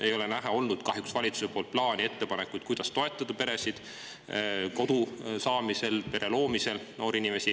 Ei ole näha olnud valitsuse plaani ega ettepanekuid, kuidas toetada noori peresid kodu saamisel ja pere loomisel.